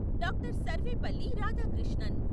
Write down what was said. Doctor. Sarvepalli Radhakrishnan